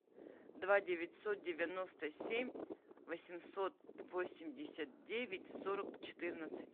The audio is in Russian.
два девятьсот девяносто семь восемьсот восемьдесят девять сорок четырнадцать